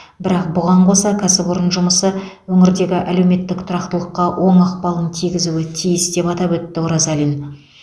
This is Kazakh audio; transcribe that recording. бірақ бұған қоса кәсіпорын жұмысы өңірдегі әлеуметтік тұрақтылыққа оң ықпалын тигізуі тиіс деп атап өтті оразалин